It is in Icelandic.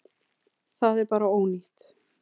Það er bara ónýtt.